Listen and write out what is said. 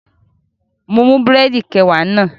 Mo mú búrẹ̀dì kẹwàá náà